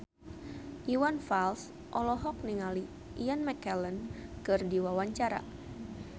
Iwan Fals olohok ningali Ian McKellen keur diwawancara